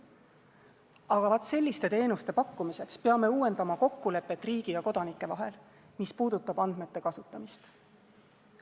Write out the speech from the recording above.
Aga selliste teenuste pakkumiseks peame uuendama riigi ja kodanike vahelist kokkulepet, mis puudutab andmete kasutamist.